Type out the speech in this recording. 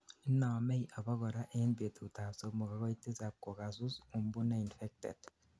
inomei abakora end betutab somok agoi tisab kokago sus umbu neinfected